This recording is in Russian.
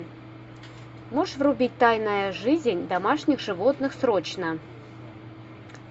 можешь врубить тайная жизнь домашних животных срочно